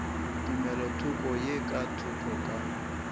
tumelothoko ye ka thoko ka